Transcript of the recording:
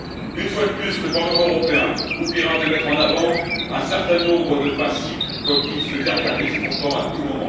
Une fois de plus, le Parlement européen oubliera de mettre en avant un certain nombre de principes dont il se gargarise pourtant sans cesse.